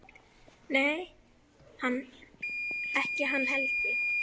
Nei, ekki hann Helgi.